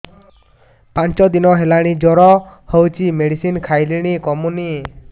ପାଞ୍ଚ ଦିନ ହେଲାଣି ଜର ହଉଚି ମେଡିସିନ ଖାଇଲିଣି କମୁନି